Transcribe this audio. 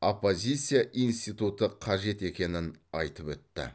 оппозиция институты қажет екенін айтып өтті